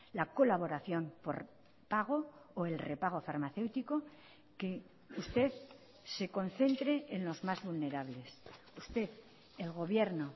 la colaboración por pago o el repago farmacéutico que usted se concentre en los más vulnerables usted el gobierno